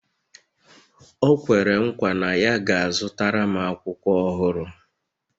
O kwere nkwa na ya ga-azụtara m akwụkwọ ọhụrụ